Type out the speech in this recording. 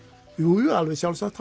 jújú alveg sjálfsagt